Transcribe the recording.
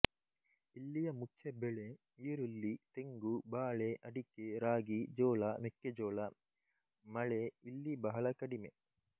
ಇಲ್ಲಿಯ ಮುಖ್ಯ ಬೆಳೆ ಈರುಳ್ಳಿ ತೆಂಗು ಬಾಳೆ ಅಡಿಕೆ ರಾಗಿ ಜೋಳಾ ಮೆಕ್ಕೆಜೋಳ ಮಳೆ ಇಲ್ಲಿ ಬಹಳ ಕಡಿಮೆ